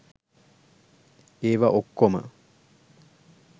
ඒවා ඔක්කොම